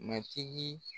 Matigi